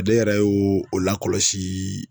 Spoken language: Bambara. Ne yɛrɛ y'o o lakɔlɔsii